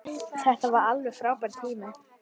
Þetta var alveg frábær tími.